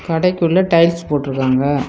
கடைக்கு உள்ள டைல்ஸ் போட்ருகாங்க.